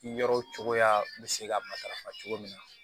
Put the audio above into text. Yɔrɔw cogoya bɛ se ka matarafa cogo min na